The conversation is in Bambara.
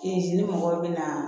ni mɔgɔw bɛ na